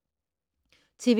TV 2